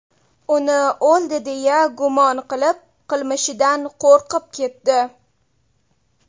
Uni o‘ldi deya gumon qilib, qilmishidan qo‘rqib ketdi.